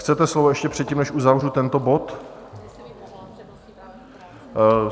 Chcete slovo ještě předtím, než uzavřu tento bod?